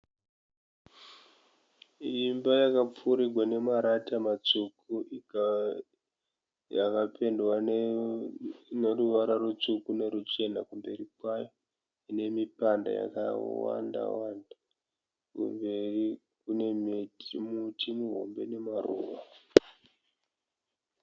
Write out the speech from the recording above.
Imba yakapfurigwa nemarata matsvuku. Yakapendwa neruvara rutsvuku neruchena kumberi kwayo nemipanda yakawanda Wanda. Kumberi kune muti muhombe nemaruva.